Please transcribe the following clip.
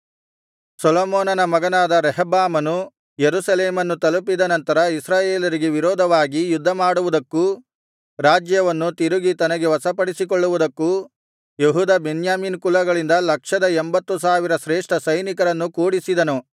ಸೊಲೊಮೋನನ ಮಗನಾದ ರೆಹಬ್ಬಾಮನು ಯೆರೂಸಲೇಮನ್ನು ತಲುಪಿದ ನಂತರ ಇಸ್ರಾಯೇಲರಿಗೆ ವಿರೋಧವಾಗಿ ಯುದ್ಧಮಾಡುವುದಕ್ಕೂ ರಾಜ್ಯವನ್ನು ತಿರುಗಿ ತನಗೆ ವಶಪಡಿಸಿಕೊಳ್ಳುವುದಕ್ಕೂ ಯೆಹೂದ ಬೆನ್ಯಾಮೀನ್ ಕುಲಗಳಿಂದ ಲಕ್ಷದ ಎಂಬತ್ತು ಸಾವಿರ ಶ್ರೇಷ್ಠ ಸೈನಿಕರನ್ನು ಕೂಡಿಸಿದನು